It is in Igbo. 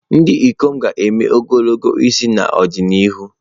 Ndị ikom ga-eme ogologo isi n'ọdịnihu.